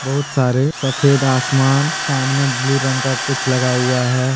बहुत सारे सफेद आसमान सामने ब्लू रंग का कुछ लगा हुआ है।